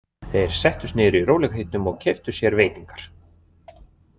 Þeir settust niður í rólegheitum og keyptu sér veitingar.